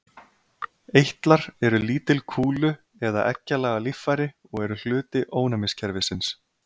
Eitlar eru lítil kúlu- eða egglaga líffæri og eru hluti ónæmiskerfisins.